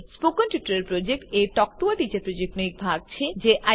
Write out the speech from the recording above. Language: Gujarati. spoken tutorial project a talk to a teacher પ્રોજેક્ટનો એક ભાગ છે